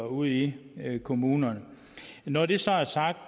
ude i kommunerne når det så er sagt